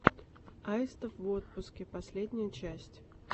аистов в отпуске последняя часть